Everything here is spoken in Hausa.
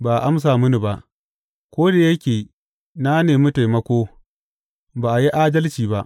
Ba a amsa mini ba; ko da yake na nemi taimako, ba a yi adalci ba.